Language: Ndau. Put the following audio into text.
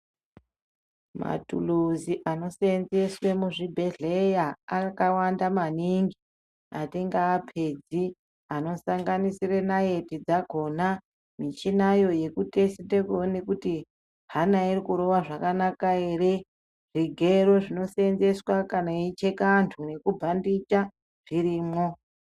Maturusi anosenzeswe muzvibhedhlera akawanda maningi atingaapedzi anosanganisira nayeti dzakona, michinayo yekutesite kuti hana irikurova zvakanaka here, zvigero zvinodhandiswa kana vechicheka antu nekubhanditya zvirimo.